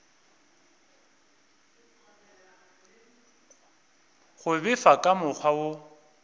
go befa ka mokgwa wo